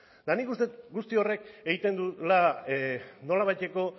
eta nik uste dut guzti horren egiten duela nolabaiteko